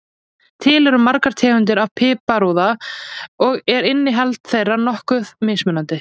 Til eru margar tegundir af piparúða og er innihald þeirra nokkuð mismunandi.